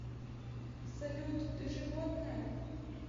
салют ты животное